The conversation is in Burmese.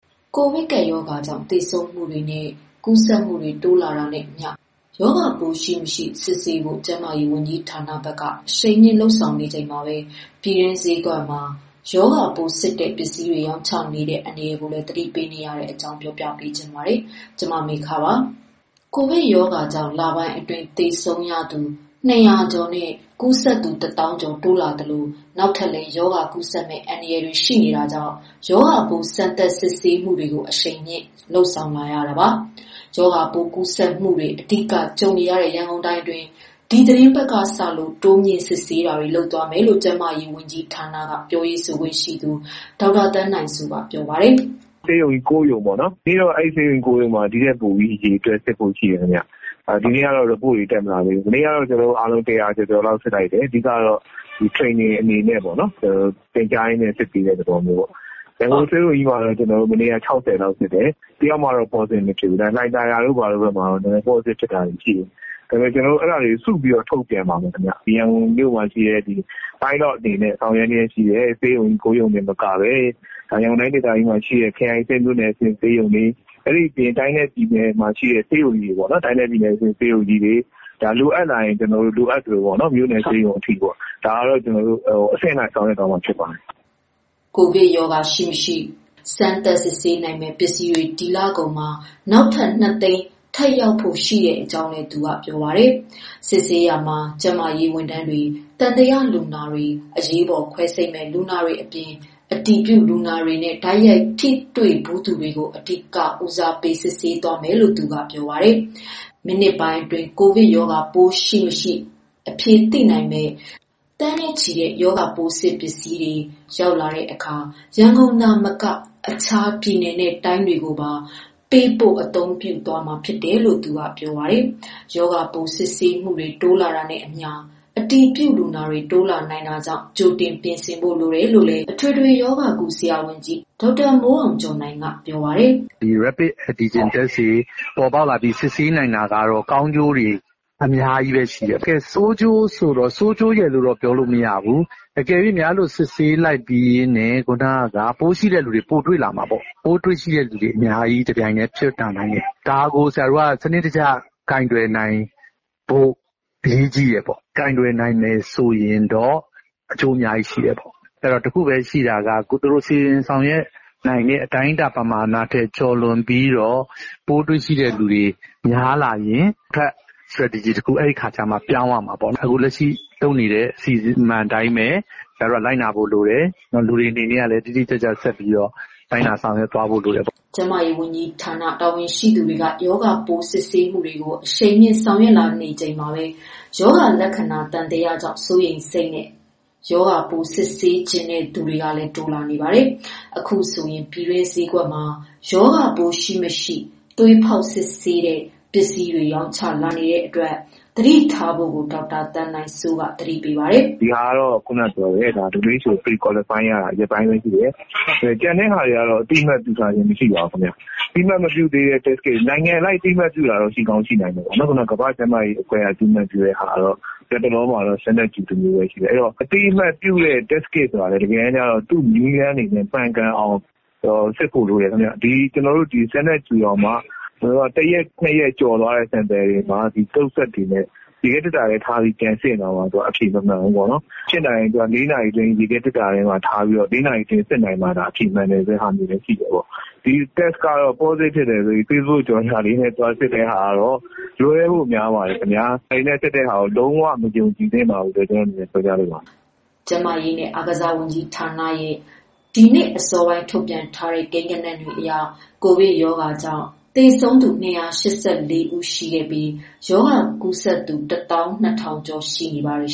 ကိုဗစ်ကပ်ရောဂါကြောင့် သေဆုံးမှုတွေနဲ့ ကူးစက်မှုတွေ တိုးလာနေတာနဲ့အမျှ ရောဂါပိုးရှိ၊ မရှိ စစ်ဆေးဖို့ ကျန်းမာရေးဝန်ကြီးဌာနက အရှိန်မြင့် ဆောင်ရွက်နေချိန်မှာပဲ ပြည်တွင်းဈေးကွက်မှာ ရောဂါပိုးစစ်တဲ့ ပစ္စည်းတွေ ရောင်းချနေတဲ့ အန္တရာယ်ကိုလည်း သတိပေးနေတဲ့အကြောင်း တင်ပြချင်ပါတယ်။ ဗွီအိုအေမြန်မာပိုင်းသတင်းထောက် မမေခက ပြောပြမှာပါ။ ကိုဗစ်ကပ်ရောဂါကြောင့် လပိုင်းအတွင်း သေဆုံးသူ ၂၀၀ ကျော်နဲ့ ကူးစက်သူ ၁ သောင်းကျော် တိုးလာသလို နောက်ထပ်လည်း ရောဂါကူးစက်မယ့် အန္တရာယ် ရှိနေတာကြောင့် ရောဂါပိုး စမ်းသပ်စစ်ဆေးမှုတွေကို အရှိန်မြှင့်ဆောင်ရွက်လာနေတာပါ။ ရောဂါပိုး ကူးစက်မှုတွေ အဓိကကြုံနေရတဲ့ ရန်ကုန်တိုင်းအတွင်း ဒီသီတင်းပတ်ကစလို့ တိုးမြှင့်စစ်ဆေးပေးနေကြောင်းလည်း ကျန်းမာရေးဝန်ကြီးဌာန ပြောရေးဆိုခွင့်ရှိသူ ဒေါက်တာသန်းနိုင်စိုးက ပြောပါတယ်။ “ဆေးရုံ ၉ရုံစစ်တယ်။ ဒီနေ့တော့ အဲဒီ ဆေးရုံကြီး ၉ ရုံမှာ အရေအတွက်ပိုဖို့ရှိတယ် ခင်ဗျ။ မနေ့ကတော့ Report တွေ တက်မလာသေးဘူး။ မနေ့ကတော့ကျနော်တို့အားလုံး ၁၀၀ကျော်ကျော်လောက် စစ်လိုက်တယ်။ အဓိကတော့ Training အနေနဲ့ပေါ့နော် သင်ကြားရင်းနဲ့ စစ်ပေးတဲ့သဘောပေါ့နော်။ရန်ကုန်ဆေးရုံကြီးမှာတော့ မနေ့က ၆၀လောက်စစ်တယ်။ တယောက်မှတော့ positive မဖြစ်ဘူး ဒါပေမယ့် လှိုင်သာယာမှာတော့ တချို့ positive ဖြစ်တာတွေ ရှိတယ်။ အဲဒါတွေကို ကျနော်တို့ စုပြီးတော့ ထုတ်ပြန်ပါမယ်ခင်ဗျ။ ရန်ကုန်မှာရှိတဲ့ pilot အနေနဲ့ ဆောင်ရွက်လျက်ရှိတဲ့ ဆေးရုံ ၉ရုံမကဘဲ ရန်ကုန်တိုင်း ဒေသကြီးမှာရှိတဲ့ ခရိုင်အဆင့်မြို့နယ် အဆင့် ဆေးရုံတွေ၊ တိုင်းနဲ့ ပြည်နယ်မှာရှိတဲ့ ဆေးရုံတွေကို လိုအပ်လာရင် လိုအပ်သလို မြို့နယ်ဆေးရုံအထိပေါ့နော် ဒါကိုတော့ ကျနော်တို့ အဆင့်လိုက် ဆောင်ရွက်သွားမှာ ဖြစ်ပါတယ်။” ကိုဗစ်ရောဂါ ရှိမရှိကို စစ်ဆေးနိုင်မယ့် ပစ္စည်းတွေ ဒီလကုန်မှာ နောက်ထပ် ၂သိန်းထပ်ရဖို့ရှိနေကြောင်းလည်း ပြောပါတယ်။ စစ်ဆေးရာမှာတော့ ကျန်းမာရေးဝန်ထမ်း၊ သံသယလူနာ၊ အရေးပေါ် ခွဲစိတ်မယ့်လူနာတွေအပြင်၊ အတည်ပြုလူနာတွေနဲ့ တိုက်ရိုက်ထိတွေ့ဖူးသူတွေကို အဓိက ဦးစားပေး စစ်ဆေးသွားမယ်လို့ သူကပြောပါတယ်။ မိနစ်ပိုင်းအတွင်း ကိုဗစ်ပိုးရှိမရှိ အဖြေသိနိုင်မယ့် သိန်းနဲ့ချီတဲ့ test kit ပစ္စည်းတွေ ရောက်လာတဲ့အခါ ရန်ကုန်သာမက အခြားတိုင်းနဲ့ပြည်နယ်တွေကိုပါ ပေးပို့အသုံးပြုသွားမှာ ဖြစ်တယ်လို့လည်း ပြောပါတယ်။ ရောဂါပိုး စစ်ဆေးမှုတွေ တိုးလာတာနဲ့အမျှ အတည်ပြုလူနာတွေ တိုးလာနိုင်တာကြောင့် ကြိုတင်ပြင်ဆင်ဖို့ လိုတယ်လို့လည်း အထွေထွေရောဂါကု ဆရာဝန်ကြီးဒေါက်တာမိုးအောင်ကျော်နိုင်က ပြောပါတယ်။ “ဒီ Rapid Antigen test တွေပေါ်ပေါက်လာပြီး စစ်ဆေးနိုင်တာကတော့ ကောင်းကျိုး တွေအများကြီးပဲရှိတယ်။ ဆိုးကျိုးဆိုတော့ ဆိုးကျိုးရယ်တော့ပြောမရဘူး။ အကယ်၍များ အဲလို စစ်ဆေးလိုက်ပြီးရင် ခုနက ပိုးရှိတဲ့လူတွေ ပိုတွေ့လာမှာပေါ့နော် ။ ပိုးတွေ့တဲ့လူတွေ တပြိုင်တည်း အများကြီးဖြစ်လာနိုင်တယ် ဒါကို ဆရာတို့ စနစ်တကျ ကိုင်တွယ်နိုင်ဖို့ အရေးကြီးတယ်။ ကိုင်တွယ်နိုင်မယ်ဆိုရင်တော့ အကျိုးအများကြီးရှိတယ်။ ဆိုတော့ တခုပဲ ရှိတာက သူတို့ စီစဉ်ဆောင်ရွက်နိုင်မယ့်အတိုင်းအတာ ပမာဏထက် ကျော်လွန်ပြီးတော့ ပိုးတွေ့တဲ့လူတွေ များလာရင်အတွက် Stretegy တခု အဲဒီအခါကျမှ ပြောင်းရမှာပေါ့နော်။ အခုလက်ရှိ လုပ်နေတဲ့ အစီအမံအတိုင်းပဲ ဆရာတို့ လိုက်နာဖို့လိုတယ်။ နောက်တခု လူတွေအနေနနဲ့ကလည်း တိတိကျကျ ဆက်ပြီးတော့လိုက်နာဆောင်ရွက်သွားဖို့ လိုတယ်ပေါ့။” ကျန်းမာရေးဝန်ကြီးဌာန တာဝန်ရှိသူတွေက ရောဂါပိုး စစ်ဆေးမှုတွေကို အရှိန်မြှင့် ဆောင်ရွက်လာနေချိန်မှာပဲ ရောဂါလက္ခဏာ သံသယကြောင့် စိုးရိမ်စိတ်နဲ့ စစ်ဆေးချင်တဲ့သူတွေလည်း တိုးလာနေပါတယ်။ အခုဆိုရင် ပြည်တွင်း ဆေးဈေးကွက်မွာ ရောဂါပိုး ရှိ မရှိသွေးဖောက်စစ်ဆေးတဲ့ ပစ္စည်းတွေ ရောင်းချလာနေတဲ့အတွက် သတိထားဖို့လည်း ဒေါက်တာ သန်းနိုင်စိုးက သတိပေးပါတယ်။ “ဒီ Test kit ကိုတော့ ကမ္ဘာကျန်းမာရေးအဖွဲ့က အသိမှတ်ပြုတာ ရက်ပိုင်းဘဲရှိသေးတယ်။ ကျန်တာတွေကို အသိမှတ် ပြုထားခြင်း မရှိပါဘူး။ အသိအမတ်မပြုတဲ့ Test Kit တွေ နိုင်ငံအလိုက်အသိမှတ်ပြုတာရှိချင်ရှိမယ်။ နောက်တခါ ကမ္ဘာကျန်းမာရေးအဖွဲ့က အသိမှတ်ပြုတာ ကတော့ လက်တလောမှာ Standard Q တမျိုးပဲရှိသေးတယ်။ အသိအမှတ်ပြုတဲ့ Test Kit ဆိုတာ တကယ်တမ်းကျတော့ သူ့နည်းလမ်းတွေနဲ့ မှန်ကန်အောင်စစ်ဖို့လိုတယ်ခင်ဗျ။ ဒီ ကျနော်တို့ Standard Q တောင်မှ တရက် ၂ ရက်ကျော်သွားတဲ့ sample တွေမှာ ရေခဲသေတ္တာထဲထားပြီး ပြန်စစ်ရင်တောင်မှ အဖြေ မမှန်ဘူးပေါ့နော်။ ဖြစ်နိုင်ရင် ရေခဲသေတ္တာမှာ ထားပြီးတော့ ၄ နာရီအတွင်း စစ်နိုင်မှသာ အဖြေမှန်တာမျိုးလည်းရှိတယ်ပေါ့။ ဒီလိုမျိုး ဒီ Test ကတော့ ပေါ့စတစ်ဖြစ်တယ်ဆိုပြီး ဖေ့ဘုတ်ကြော်ငြာလေးနဲ့ သွားပြီးတော့ စစ်တာကတော့ လွဲဖို့များပါတယ်။ ဒါတွေနဲ့စစ်တာ လုံးဝမယုံကြည်သင့်ဘူးလို့ ပြောပြချင်တယ်။” ကျန်းမာရေးနဲ့ အားကစားဝန်ကြီးဌာနရဲ့ ဒီနေ့အစောပိုင်းအထိ ထုတ်ပြန်ထားတဲ့ ကိန်းဂဏန်းတွေအရ ကိုဗစ်ကပ်ရောဂါကြောင့် သေဆုံးသူ ၂၈၄ ဦးနဲ့ ရောဂါကူးစက်သူ ၁၂၀၀၀ကျော် ရှိနေပါတယ်